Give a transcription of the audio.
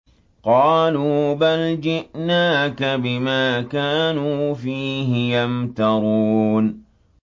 قَالُوا بَلْ جِئْنَاكَ بِمَا كَانُوا فِيهِ يَمْتَرُونَ